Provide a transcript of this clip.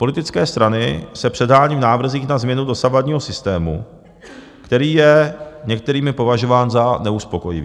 Politické strany se předhánějí v návrzích na změnu dosavadního systému, který je některými považován za neuspokojivý.